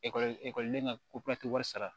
Ekɔli ekɔliden ka ko papiye wari sara